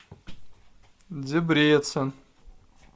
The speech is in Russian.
дебрецен